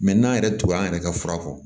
Mɛ n'an yɛrɛ t'o an yɛrɛ ka fura kɔ